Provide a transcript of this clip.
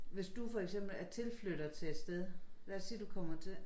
Hvis du for eksempel er tilflytter til et sted lad os sige du kommer til